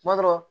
Kuma dɔ la